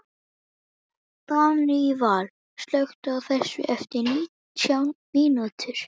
Daníval, slökktu á þessu eftir nítján mínútur.